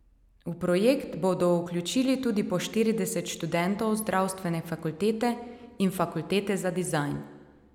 V projekt bodo vključili tudi po štirideset študentov zdravstvene fakultete in fakultete za dizajn.